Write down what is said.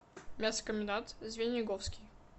мясокомбинат звениговский